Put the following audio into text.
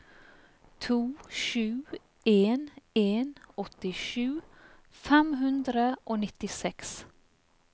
to sju en en åttisju fem hundre og nittiseks